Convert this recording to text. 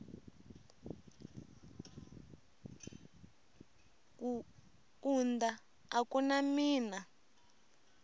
kaunda a ku na mina